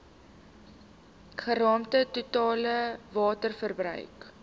geraamde totale waterverbruik